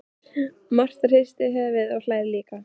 Marta hristir höfuðið og hlær líka.